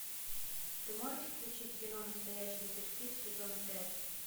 ты можешь включить кино настоящий детектив сезон пять